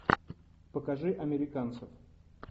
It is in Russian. покажи американцев